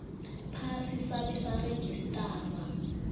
phasi sabe sarejistarwa